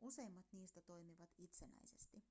useimmat niistä toimivat itsenäisesti